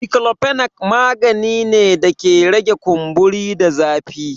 Diklofinak magani ne da ke rage kumburi da zafi.